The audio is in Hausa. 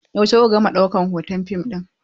Yaushe ku ka gama ɗaukan hoton fim ɗin?